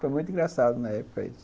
Foi muito engraçado na época isso.